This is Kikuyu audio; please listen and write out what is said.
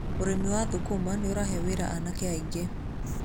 Ũrĩmi wa thũkũma nĩ ũrahe wĩra anake aingĩ.